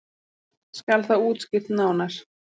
Skal það útskýrt nánar.